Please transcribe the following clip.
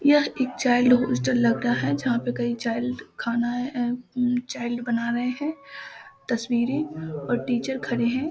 यह एक child hostel लग रहा है जहां पे कई चाइल्ड खानाए ए चाइल्ड बना रहे है तस्वीरें और टीचर खड़े हैं।